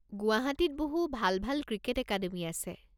গুৱাহাটীত বহু ভাল ভাল ক্ৰিকেট একাডেমি আছে।